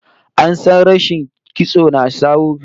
An sha samun rashin kitso na jawo ciwo kamar amosanin kai